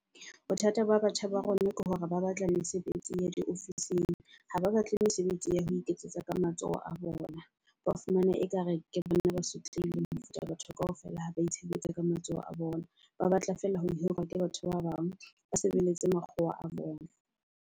Bothata ba batjha ba rona ke hore ba batla mesebetsi ya diofising, ha ba batle mesebetsi ya ho iketsetsa ka matsoho a bona. Ba fumana ekare ke bona ba sotlehileng mofuta batho kaofela ha ba itshebeletsa ka matsoho a bona, ba batla fela ho hirwa ke batho ba bang ba sebeletse makgowa a bona.